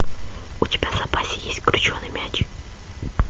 у тебя в запасе есть крученый мяч